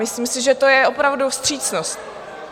Myslím si, že to je opravdu vstřícnost.